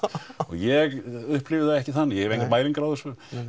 ég upplifi það ekki þannig ég hef engar mælingar á þessu